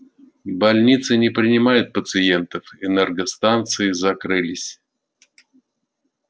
больницы не принимают пациентов энергостанции закрылись